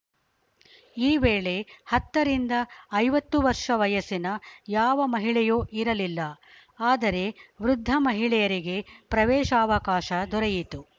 ಈ ವೇಳೆ ಹತ್ತರಿಂದ ಐವತ್ತು ವರ್ಷ ವಯಸ್ಸಿನ ಯಾವ ಮಹಿಳೆಯೂ ಇರಲಿಲ್ಲ ಆದರೆ ವೃದ್ಧ ಮಹಿಳೆಯರಿಗೆ ಪ್ರವೇಶಾವಕಾಶ ದೊರೆಯಿತು